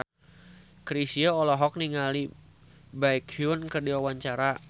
Chrisye olohok ningali Baekhyun keur diwawancara